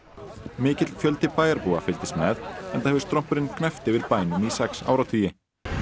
mikill fjöldi bæjarbúa fylgdist með enda hefur strompurinn gnæft yfir bænum í sex áratugi